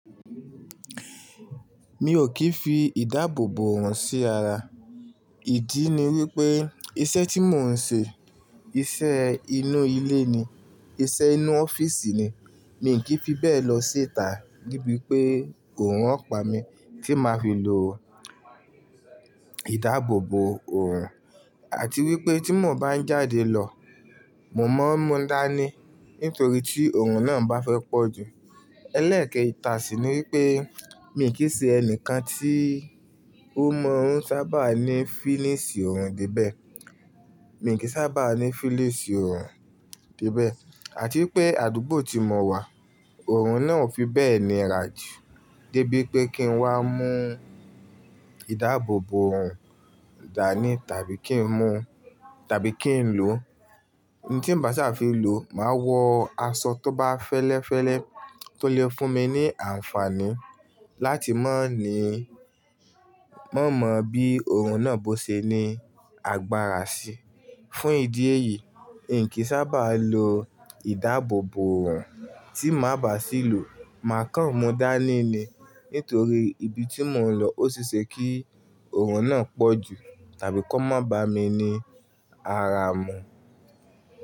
Mi ò kìí fi ìdáàbòbò ọ̀rùn sí ara. Ìdí ni wípé iṣẹ́ tí mò ń ṣe, iṣẹ́ inú ilé ni, iṣẹ́ inú ọ́fíìsì ni, mi ò kí fi bẹ́ẹ̀ lọ ṣità debí pé òórùn ọ̀ pá mi tí máa fi lò ìdáàbòbò ọ̀rùn àti wípé tí mo bá ń jáde lọ, mo máa ń mú dání nítorí tí òórùn náà bá fẹ́ pọ̀jù. Ẹlẹ́ẹ̀kẹ́ ìtà sí ni wípé mi ò kí ṣe ẹnìkan tí ó mọ̀ ọ́n sábà ní fílíìsì ọ̀rùn díbẹ̀. Mi ò kí sábà ní fílíìsì ọ̀rùn debẹ̀ àti pé àdúgbò tí mo wà, òórùn náà ò fi bẹ́ẹ̀ ní rà jù dé bí pé kí n wá mú ìdáàbòbò ọ̀rùn dání tàbí kí n mú tàbí kí n lò. Ohun tí n bá sábà fi lò máa wọ aṣọ tó bá fẹ́lẹ́fẹ́lẹ́ tó lè fún mi ní àǹfààní láti má ní má mọ̀ bí òórùn náà bó ṣe ní agbára sí. Fún ìdí èyí, inkí sábà lo ìdáàbòbò ọ̀rùn tí má bá sì lò, màá kan mú dání ni nítorí ibi tí mò ń lọ ó ṣe é ṣe kí òórùn náà pọ̀jù tàbí kó má bá mi ní ara mú.